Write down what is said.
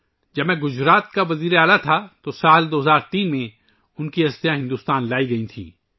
جب میں گجرات کا وزیر اعلیٰ تھا تو ان کی استھیاں 2003 ء میں ہندوستان لائی گئیں